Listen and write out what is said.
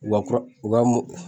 Wa kura u ka mo